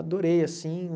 Adorei, assim.